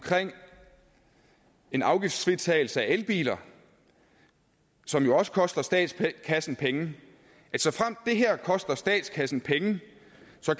en afgiftsfritagelse af elbiler som jo også koster statskassen penge at såfremt det her koster statskassen penge